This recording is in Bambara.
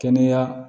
Kɛnɛya